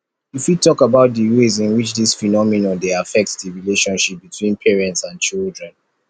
you fit talk about di ways in which dis phenomenon dey affect di relationship between parents and children